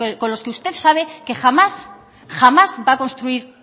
con los que usted sabe que jamás va a construir